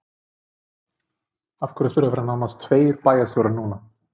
Af hverju þurfa að vera nánast tveir bæjarstjórar núna?